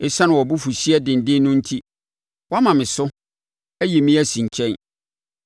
ɛsiane wʼabufuhyeɛ denden no enti, woama me so, ayi me asi nkyɛn.